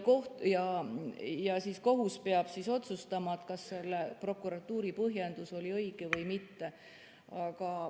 Kohus peab otsustama, kas prokuratuuri põhjendus on õige või mitte.